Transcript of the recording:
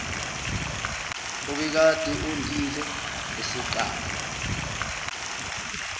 obekade ondile eseqala